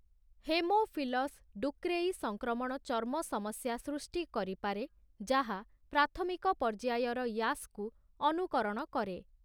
Haemophilus ducreyi ସଂକ୍ରମଣ ଚର୍ମ ସମସ୍ୟା ସୃଷ୍ଟି କରିପାରେ ଯାହା ପ୍ରାଥମିକ ପର୍ଯ୍ୟାୟର ୟାସ୍‌କୁ ଅନୁକରଣ କରେ ।